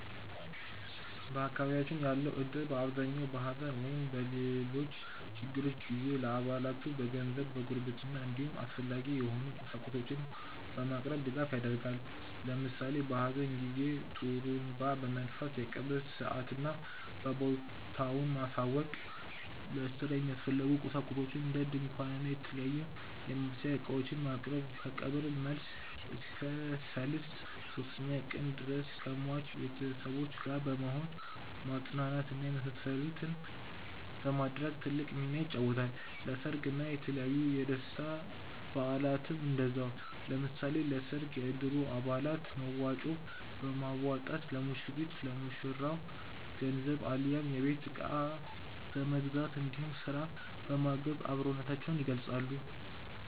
በአካባቢያችን ያለው እድር በአብዛኛው በሐዘን ወይም በሌሎች ችግሮች ጊዜ ለአባላቱ በገንዘብ፣ በጉርብትና እንዲሁም አስፈላጊ የሆኑ ቁሳቁሶችን በማቅረብ ድጋፍ ያደርጋል። ለምሳሌ በሀዘን ጊዜ ጡሩንባ በመንፋት የቀብር ሰአትና ቦታውን ማሳወቅ፣ ለስራ የሚያስፈልጉ ቁሳቁሶችን እንደ ድንኳን እና የተለያዩ የማብሰያ እቃዎችን ማቅረብ፣ ከቀብር መልስ እስከ ሰልስት (ሶስተኛ ቀን) ድረስ ከሟች ቤተሰቦች ጋር በመሆን ማፅናናት እና የመሳሰሉትን በማድረግ ትልቅ ሚናን ይጫወታል። ለሰርግ እና የተለያዩ የደስታ በአላትም እንደዛው። ለምሳሌ ለሰርግ የእድሩ አባላት መዋጮ በማዋጣት ለሙሽሪት/ ለሙሽራው ገንዘብ አሊያም የቤት እቃ በመግዛት እንዲሁም ስራ በማገዝ አብሮነታቸውን ይገልፃሉ።